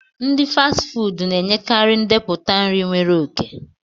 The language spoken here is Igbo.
Ndi Fasti fuudu na-enyekarị ndepụta nri nwere oke